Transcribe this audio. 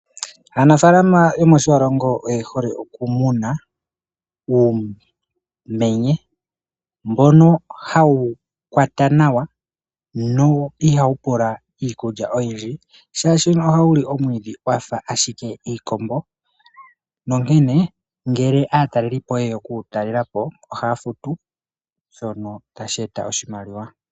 Aanafalama yomo shiwalongo oyehole okumuna uumenye mbono hawu kwata nawa no ihawupula iikulya oyindji shashi no ohawuli omwidhi wafa ashike iikombo onkene ngele atalelipo oyeya oku wutalela po ohafutu shono tasheta oshimaliwa.